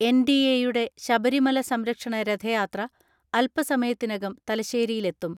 NDA യുടെ ശബരിമല സംരക്ഷണ രഥയാത്ര അൽപ്പ സമയത്തിനകം തലശ്ശേരിയിലെത്തും.